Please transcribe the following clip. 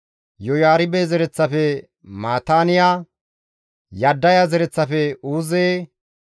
Yoyaaribe zereththafe Mataaniya, Yaddaya zereththafe Uuze,